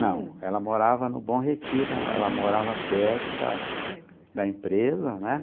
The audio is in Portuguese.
Não, ela morava no Bom Retiro, ela morava perto da da empresa, da empresa né?